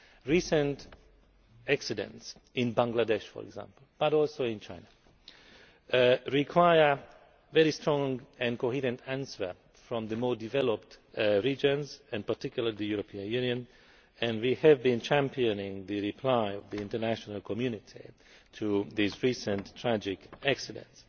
Recent accidents in Bangladesh, for example, and also in China require a strong and coherent response from the more developed regions, in particular the European Union, and we have been championing a reply by the international community to these recent, tragic accidents.